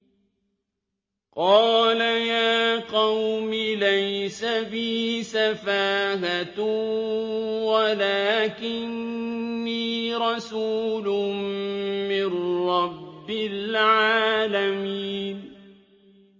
قَالَ يَا قَوْمِ لَيْسَ بِي سَفَاهَةٌ وَلَٰكِنِّي رَسُولٌ مِّن رَّبِّ الْعَالَمِينَ